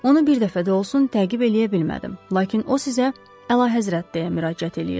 Onu bir dəfə də olsun təqib eləyə bilmədim, lakin o sizə Əlahəzrət deyə müraciət eləyirdi.